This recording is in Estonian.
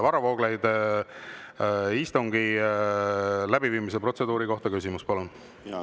Varro Vooglaid, istungi läbiviimise protseduuri kohta küsimus, palun!